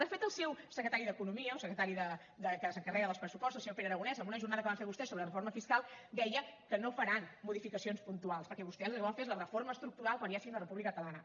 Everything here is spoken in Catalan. de fet el seu secretari d’economia o secretari que s’encarrega dels pressupostos el senyor pere aragonès en una jornada que van fer vostès sobre reforma fiscal deia que no faran modificacions puntuals perquè vostès el que volen fer és la reforma estructural quan ja sigui una república catalana